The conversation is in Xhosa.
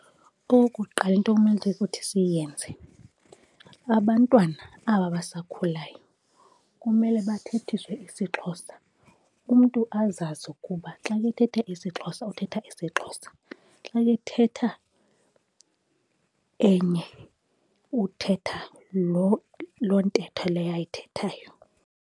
Okokuqala, into kumele ukuthi siyenze, abantwana aba basakhulayo kumele bathethiswe isiXhosa. Umntu azazi ukuba xa ethetha isiXhosa uthetha isiXhosa. Xa ethetha enye uthetha loo ntetho leyo ayithethayo.